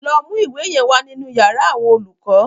Lọ mú ìwé yẹn wa nínú yàrá àwọn olùkọ́.